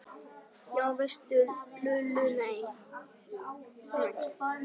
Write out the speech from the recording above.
Já veistu Lulla, nei